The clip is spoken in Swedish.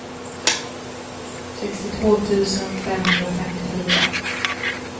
sextiotvå tusen femhundrafemtiofyra